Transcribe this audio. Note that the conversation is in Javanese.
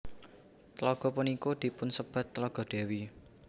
Tlaga punika dipunsebat Tlaga Dewi